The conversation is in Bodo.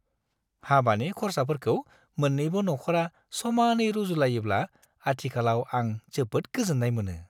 हाबानि खरसाफोरखौ मोन्नैबो नख'रा समानै रुजुनलायोब्ला आथिखालाव आं जोबोद गोजोन्नाय मोनो।